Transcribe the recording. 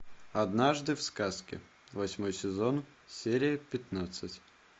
однажды в сказке восьмой сезон серия пятнадцать